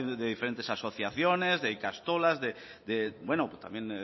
diferentes asociaciones de ikastolas